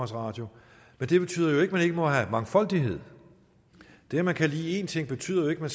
radio men det betyder jo ikke at man ikke må have mangfoldighed det at man kan lide én ting betyder jo ikke at